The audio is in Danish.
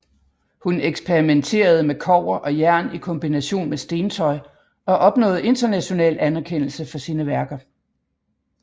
Hun eksperimenterede med kobber og jern i kombination med stentøj og opnåede international anerkendelse for sine værker